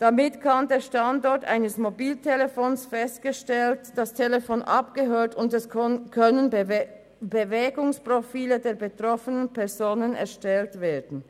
Mit diesen kann der Standort eines Mobiltelefons festgestellt und das Telefon abgehört werden, und es können Bewegungsprofile der betroffenen Personen erstellt werden.